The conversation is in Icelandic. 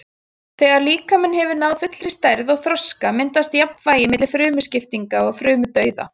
Þegar líkaminn hefur náð fullri stærð og þroska myndast jafnvægi milli frumuskiptinga og frumudauða.